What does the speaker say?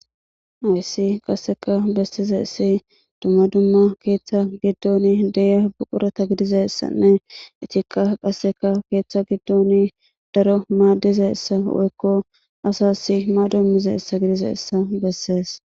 Hays qaseka besizays dumma dumma ketha gidon de'za buqurata gidizaysanne etika qase ketha gidon daro madizaysa woyko asas mado imizysa gidizaysa beses.